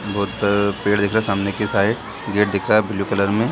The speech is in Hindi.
बहुत पेड़ दिख रहे हैं सामने के साइड गेट दिख रहा है ब्लू कलर में --